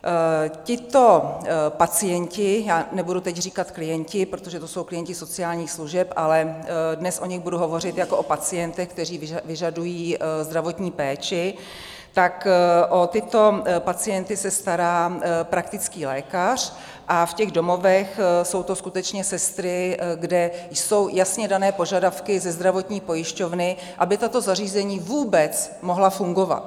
Tito pacienti, já nebudu teď říkat klienti, protože to jsou klienti sociálních služeb, ale dnes o nich budu hovořit jako o pacientech, kteří vyžadují zdravotní péči, tak o tyto pacienty se stará praktický lékař a v těch domovech jsou to skutečně sestry, kde jsou jasně dané požadavky ze zdravotní pojišťovny, aby tato zařízení vůbec mohla fungovat.